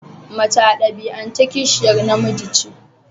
Mace a dabi'ance kishiyar namiji ce.